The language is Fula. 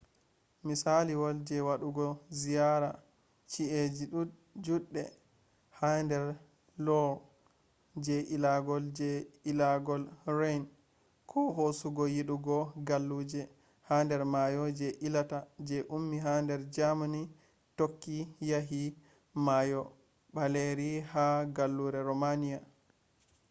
misaliwol je wadugo ziyara chi’eji judde ha der loire je ilagol je ilagol rhine ko hosugo yidugo galluje ha der mayo je ilata je ummi ha der germany tokki yahi mayo baleri ha gallure romania